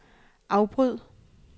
afbryd